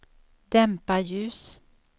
dämpa ljus